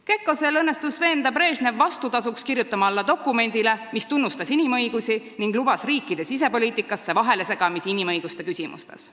Kekkosel õnnestus veenda Brežnevit vastutasuks kirjutama alla dokumendile, mis tunnustas inimõigusi ning lubas riikide sisepoliitikasse vahelesegamist inimõiguste küsimuses.